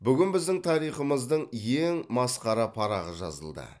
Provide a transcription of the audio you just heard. бүгін біздің тарихымыздың ең масқара парағы жазылды